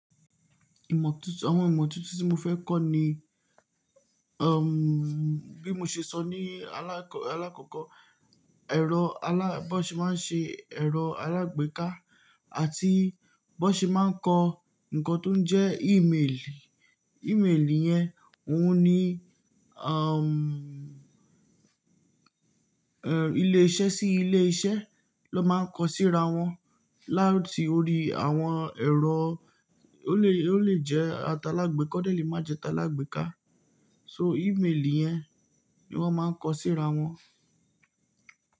Ìmọ́ tuntun, àwọn ìmọ́ tuntun tí mo fẹ́ kọ́ ni, um, bí mo ṣe sọ ní alákọ, alákọ̀kọ̀, ẹ̀rọ alá, bi won ṣe máa ń ṣe ẹ̀rọ alágbèéká àti bi won ṣe máa ń kọ ǹkan tó ń jẹ́ imeeli. Imeeli yẹn òun ni, um, ẹ́, ilé iṣẹ́ sí ilé iṣẹ́ ló máa ń kọ síra wọn láti orí àwọn ẹ̀rọ, ó lè, ó lè jẹ́ atalágbeka, o de lè má jẹ́ talágbeká. So imeeli yẹn ni wọ́n máa ń kọ síra wọn.